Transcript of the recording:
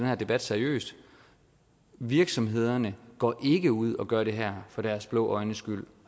her debat seriøst virksomhederne går ikke ud og gør det her for deres blå øjnes skyld